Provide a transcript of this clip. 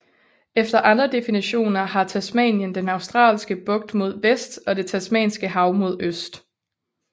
Efter andre definitioner har Tasmanien den Australske Bugt mod vest og det Tasmanske Hav mod øst